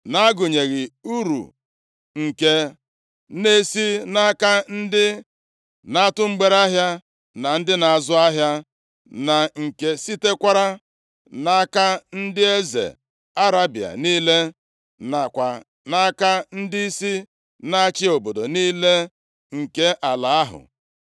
na-agụnyeghị uru nke na-esi nʼaka ndị na-atụ mgbereahịa na ndị na-azụ ahịa na nke sitekwara nʼaka ndị eze Arebịa niile, nakwa nʼaka ndịisi na-achị obodo niile nke ala ahụ.